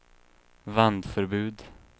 vändförbud